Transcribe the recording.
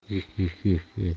хи хи хи